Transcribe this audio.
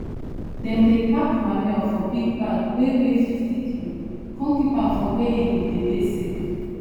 dem dey pack manure for big bag wey weigh fifty kilo come keep am for where e go dey dey safe